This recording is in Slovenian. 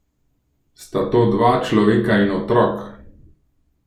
Sta to dva človeka in otrok?